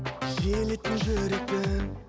жиелеттің жүректі